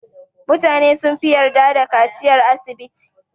Mutane sunfi yarda da kaciyar asibiti.